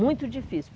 Muito difícil.